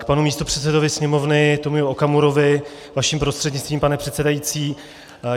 K panu místopředsedovi Sněmovny Tomiu Okamurovi vaším prostřednictvím, pane předsedající.